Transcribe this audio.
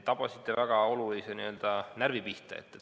Tabasite väga olulise närvi pihta.